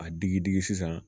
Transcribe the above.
A digi digi sisan